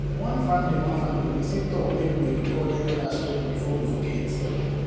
one family one family person talk make we record elder story before we forget